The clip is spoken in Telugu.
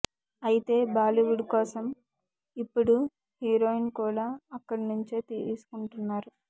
అయితే బాలీవుడ్ కోసం ఇప్పుడు హీరోయిన్ కూడా అక్కడి నుంచే తీసుకుంటున్నారు